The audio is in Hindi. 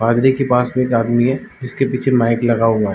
पादरी के पास भी एक आदमी है जिस के पीछे माइक लगा हुआ है।